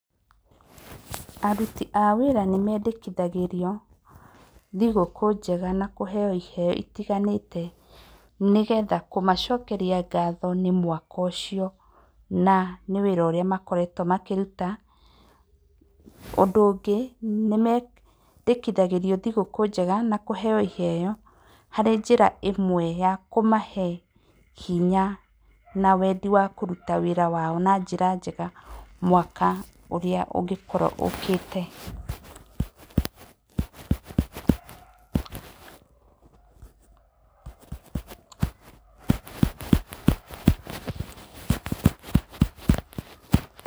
Aruti a wĩra nĩ mendekithagĩrio thigũkũ njega na kũheo iheo itiganĩte nĩgetha kũmacokeria ngatho nĩ mwaka ũcio, na nĩ wĩra ũrĩa makoretwo makĩruta, ũndũ ũngĩ nĩ mendekithagĩrio thigũkũ njega na kũheo iheo arĩ njĩra ĩmwe ya kũmahe hinya na wendi wa kũruta wĩra wao na njĩra njega, mwaka ũrĩa ũngĩkorwo ũkĩte.